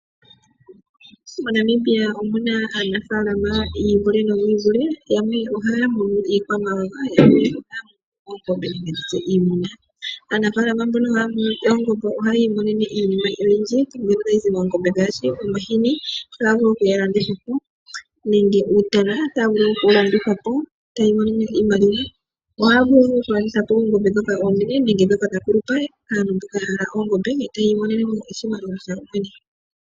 MoNamibia omu na aanafaalama yi ivule. Yamwe ohaya munu iikwamawawa yo yamwe ohaya munu iimuna nenge ndi tye oongombe. Aanafaalama mboka haya munu oongombe ohaya imonene iinima oyindji mbyono tayi zi koongombe ngaashi omahini taga vulu okulandithwa po nenge uutana mboka tawu vulu okulandithwa po yi imonene iimaliwa. Ohaya vulu okulanditha po oongombe ndhoka oonene nenge ndhoka dha kulupa yo taya imonene mo oshimaliwa.